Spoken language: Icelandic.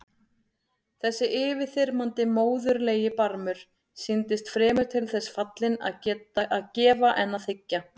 Þessi yfirþyrmandi móðurlegi barmur sýndist fremur til þess fallinn að gefa en þiggja.